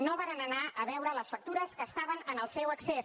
no varen anar a veure les factures que estaven al seu accés